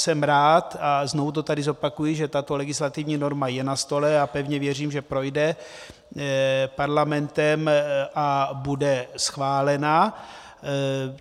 Jsem rád, a znovu to tady zopakuji, že tato legislativní norma je na stole, a pevně věřím, že projde Parlamentem a bude schválena.